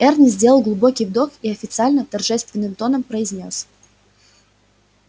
эрни сделал глубокий вдох и официально торжественным тоном произнёс